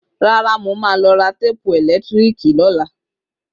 Rárá, Mo má lọ ra téèpù ẹ̀lẹ́tíríkì lọ́la